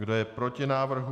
Kdo je proti návrhu?